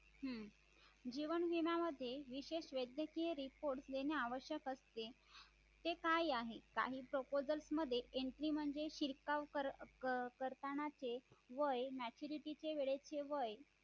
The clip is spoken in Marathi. जीवन विमा मध्ये विशेष वैद्यकीय reports देणे आवश्यक असते ते काय आहे काही proposal मध्ये entry म्हणजे शिरकाव करतानाचे वय maturity वेळेसचे वय